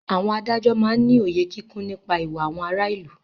Àwọn adájọ́ máá ń ní òye kíkún nípa ìwà àwọn ará ìlú